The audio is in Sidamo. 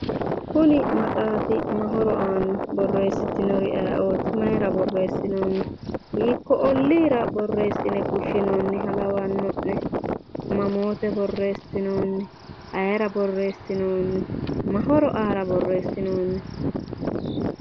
Kuni maxaafi ma horo aanno? borreessitnori ayeeooti? maayiira borreessitino? hiikko olliira borreessine fushshinoonniha lawanno'ne? mamoote borreessinoonni? ayeera borreeessinoonni? ma horo aara borreessinoonni?